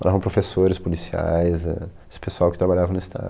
Moravam professores, policiais éh, esse pessoal que trabalhava no Estado.